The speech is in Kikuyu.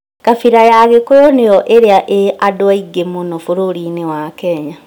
Kabira ya agĩkũyũ nĩyo ĩrĩa ĩĩ andũ aingĩ mũno bũrũriinĩ wa kenya